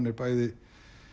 er bæði